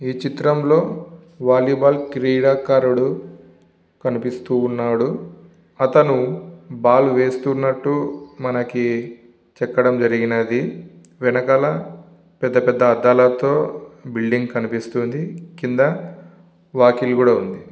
ఈ చిత్రం లో వాలిబాల్ క్రీడాకారుడు కనిపిస్తూ ఉన్నాడు అతను బాల్ వేస్తునట్టు మనకి చెక్కటం జరిగినది వెనకాల పెద్ధ పెద్ధ అద్దాలతో బిల్డింగ్ కనిపిస్తూ ఉంది కింద వాకిలి కూడా ఉంది.